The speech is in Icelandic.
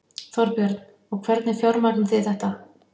Þorbjörn: Og hvernig fjármagnið þið þetta?